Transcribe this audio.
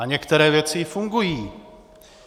A některé věci i fungují.